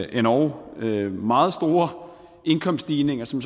endog meget store indkomststigninger som